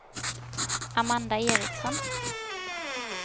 Amanda Ericsson